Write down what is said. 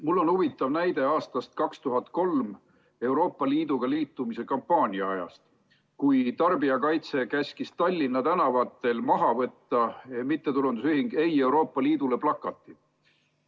Mul on huvitav näide aastast 2003, Euroopa Liiduga liitumise kampaania ajast, kui tarbijakaitse käskis Tallinna tänavatel maha võtta MTÜ Ei Euroopa Liidule plakatid.